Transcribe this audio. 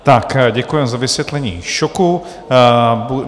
Tak děkuji za vysvětlení šoku.